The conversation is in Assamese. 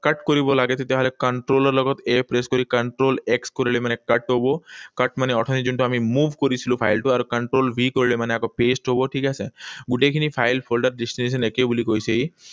Cut কৰিব লাগে, তেতিয়াহলে control ৰ লগত A press কৰি control X কৰিলে মানে cut হব। Cut মানে অথনি যোনটো আমি move কৰিছিলো ফাইলটো। আৰু control V কৰিলে মানে আকৌ paste হব। ঠিক আছে? গোটেইখিনি ফাইল folder ত destination একে বুলি কৈছে ই।